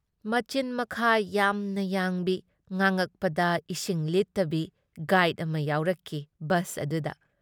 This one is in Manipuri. ꯃꯆꯤꯟ-ꯃꯈꯥ ꯌꯥꯝꯅ ꯌꯥꯡꯕꯤ ꯉꯥꯡ ꯑꯛꯄꯗ ꯏꯁꯤꯡ ꯂꯤꯠꯇꯕꯤ ꯒꯥꯏꯗ ꯑꯃ ꯌꯥꯎꯔꯛꯈꯤ ꯕꯁ ꯑꯗꯨꯗ ꯫